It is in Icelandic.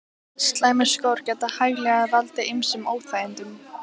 Slæmir skór geta hæglega valdið ýmsum óþægindum.